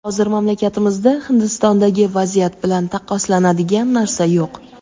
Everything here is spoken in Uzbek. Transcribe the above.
Hozir mamlakatimizda Hindistondagi vaziyat bilan taqqoslanadigan narsa yo‘q.